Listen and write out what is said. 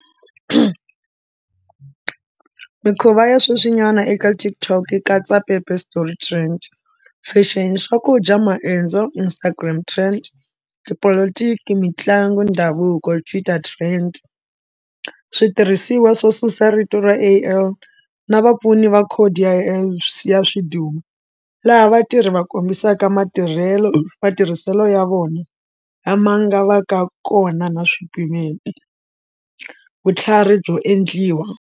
Mikhuva ya sweswinyana eka TikTok yi katsa paper story trends, fashion, swakudya maendzo, Instagram trends, tipolotiki, mitlangu, ndhavuko, Twitter trends, switirhisiwa swo susa rito ra A_l na vapfuni va khodi ya ya ya swidumbu, laha vatirhi va kombisaka matirhelo matirhiselo ya vona lama nga va ka kona na swipimelo, vutlhari byo endliwa.